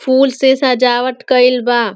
फूल से सजावट कइल बा।